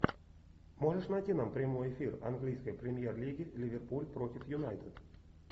можешь найти нам прямой эфир английской премьер лиги ливерпуль против юнайтед